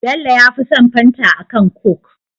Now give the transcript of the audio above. Bello yafi son fanta akan coke